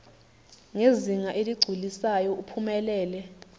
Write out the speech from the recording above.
ngezinga eligculisayo uphumelele